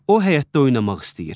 O həyətdə oynamaq istəyir.